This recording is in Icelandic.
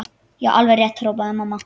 Já, alveg rétt hrópaði mamma.